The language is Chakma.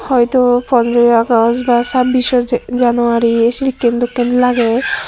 hoito pondro agosh ba sabbiso January sekken dokke lager.